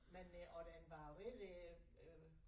Men øh og den var rigtig øh